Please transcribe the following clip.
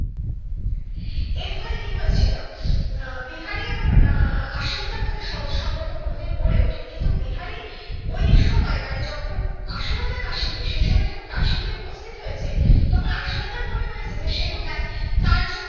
এরফলে কি হয়েছিল উম বিহারি এবং উম আশালতার মধ্যে সহজ সম্পর্ক কোনোদিন গড়ে ওঠেনি কিন্তু বিহারি ওই সময় মানে জখন আশালতা কাশিতে সেই সময় যখন কাশিতে উপস্থিত হয়েছে তখন আশালতার মনে হয়েছে যে সে বোধ হয় তার জন্য